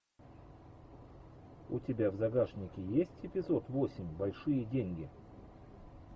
у тебя в загашнике есть эпизод восемь большие деньги